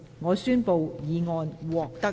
我宣布議案獲得通過。